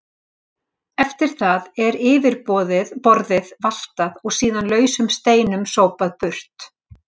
Eftir það er yfirborðið valtað og síðan lausum steinum sópað burt.